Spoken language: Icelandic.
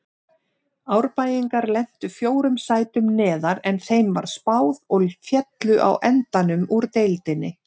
Árbæingar lentu fjórum sætum neðar en þeim var spáð og féllu á endanum úr deildinni.